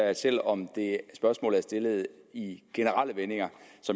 at selv om spørgsmålet er stillet i generelle vendinger